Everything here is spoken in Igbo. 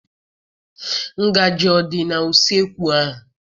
Ngaji adị n'useekwu ahụ?